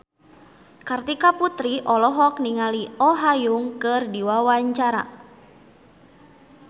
Kartika Putri olohok ningali Oh Ha Young keur diwawancara